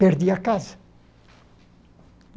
Perdi a casa.